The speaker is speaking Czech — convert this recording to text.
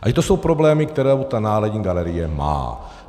A že to jsou problémy, které ta Národní galerie má.